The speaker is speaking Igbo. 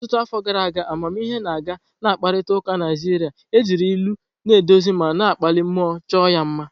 Ọtụtụ afọ gara aga, amamihe na-aga na mkparịta ụka Naịjirịa, ejiri ilu na-eduzi ma na-akpali mmụọ chọọ ya mma.